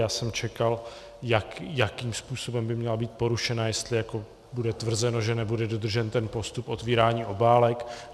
Já jsem čekal, jakým způsobem by měla být porušena, jestli jako bude tvrzeno, že nebude dodržen ten postup otvírání obálek.